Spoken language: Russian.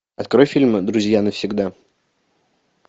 открой фильм друзья навсегда